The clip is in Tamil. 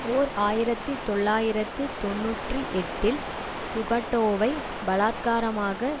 ஓர் ஆயிரத்தி தொள்ளாயிரத்து தொன்னூற்றி எட்டில் சுகாட்டோவை பலாத்காரமாக